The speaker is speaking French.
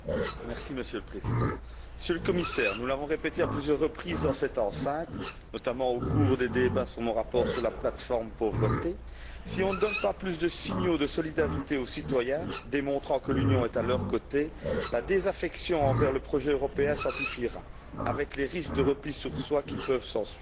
Monsieur le Président, Monsieur le Commissaire, nous l'avons répété à plusieurs reprises dans cette enceinte, notamment au cours des débats sur mon rapport sur la plate forme pauvreté si on ne donne pas plus de signaux de solidarité aux citoyens démontrant que l'Union est à leurs côtés, la désaffection envers le projet européen s'amplifiera avec les risques de repli sur soi qui peuvent s'ensuivre.